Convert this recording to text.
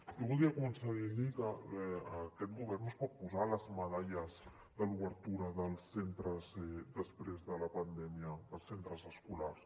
jo voldria començar dient li que aquest govern no es pot posar les medalles de l’obertura dels centres després de la pandèmia dels centres escolars